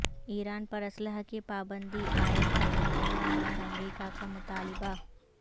ایران پر اسلحہ کی پابندی عاید کرنے بحران اور امریکہ کا مطالبہ